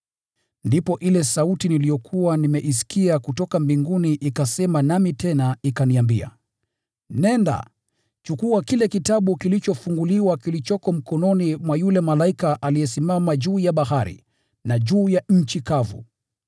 Ndipo ile sauti niliyokuwa nimeisikia kutoka mbinguni ikasema nami tena ikaniambia, “Nenda, chukua kile kitabu kilichofunguliwa kilichoko mkononi mwa yule malaika aliyesimama juu ya bahari na juu ya nchi kavu.”